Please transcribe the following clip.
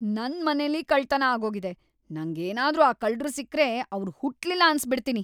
ನನ್ ಮನೆಲಿ ಕಳ್ತನ ಆಗೋಗಿದೆ, ನಂಗ್‌ ಏನಾದ್ರೂ ಆ ಕಳ್ರು ಸಿಕ್ರೆ‌ ಅವ್ರ್‌ ಹುಟ್ಲಿಲ್ಲ ಅನ್ಸ್‌ಬಿಡ್ತೀನಿ.